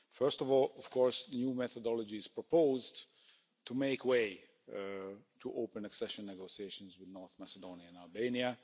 First of all, of course, new methodologies are proposed to make way to opening accession negotiations with North Macedonia and Albania.